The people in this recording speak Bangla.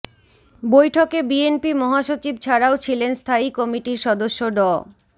বৈঠকে বিএনপি মহাসচিব ছাড়াও ছিলেন স্থায়ী কমিটির সদস্য ড